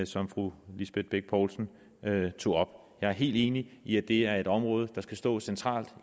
som fru lisbeth bech poulsen tog jeg er helt enig i at det er et område der skal stå centralt